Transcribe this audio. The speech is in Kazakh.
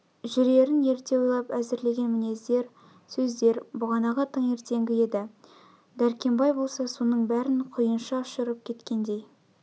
жүрерн ерте ойлап әзірлеген мінездер сөздер бағанағы таңертеңгі еді дәркембай болса соның бәрін құйынша ұшырып кеткендей